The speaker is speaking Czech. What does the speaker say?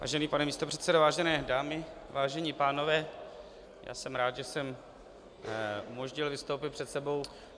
Vážený pane místopředsedo, vážené dámy, vážení pánové, já jsem rád, že jsem umožnil vystoupit před sebou -